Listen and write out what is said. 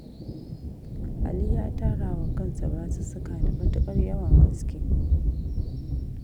Ali ya tara wa kansa basussuka da matuƙar yawan gaske